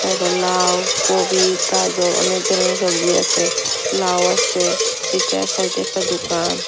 এরপর লাউ কবি গাঁজর অনেক ধরনের সবজি আছে লাউ আছে ইটার সাইডে একটা দোকান।